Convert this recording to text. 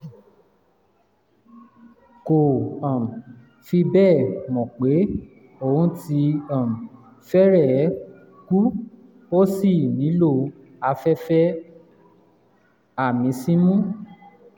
kò um fi bẹ́ẹ̀ mọ̀ pé òun ti um fẹ́rẹ̀ẹ́ kú ó sì nílò afẹ́fẹ́ àmísínú